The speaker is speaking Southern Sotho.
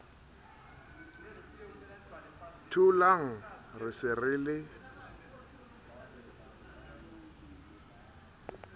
tholang re se re le